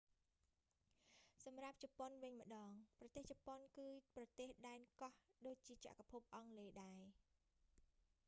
សម្រាប់ជប៉ុនវិញម្ដង ប្រទេសជប៉ុនគឺប្រទេសដែនកោះ ដូចជាចក្រភពអង់គ្លេសដែរ